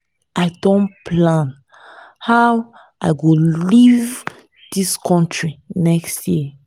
i don plan how i go leave dis country next year